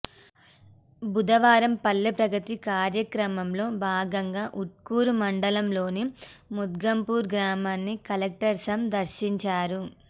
బుధవారం పల్లెప్రగతి కార్యక్రమంలో భాగంగా ఊట్కూరు మండలంలోని మొగ్దుంపూర్ గ్రామాన్ని కలెక్టర్ సం దర్శించారు